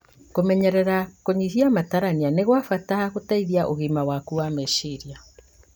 Kũmenyera kũnyihia matarania nĩ gwa bata harĩ gũteithia ũgima waku wa meciria